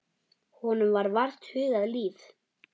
Honum var vart hugað líf.